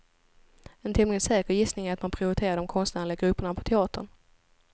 En tämligen säker gissning är att man prioriterar de konstnärliga grupperna på teatern.